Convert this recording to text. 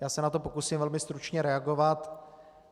Já se na to pokusím velmi stručně reagovat.